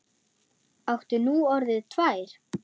Áttu nú orðið tvær?